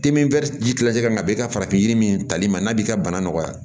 ka na bi ka farafin yiri min tali ma n'a b'i ka bana nɔgɔya